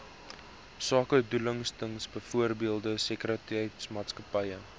sakedoeleindes byvoorbeeld sekuriteitsmaatskappye